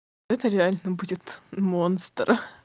это реально будет монстр